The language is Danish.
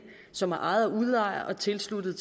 som er ejet af udlejer og tilsluttet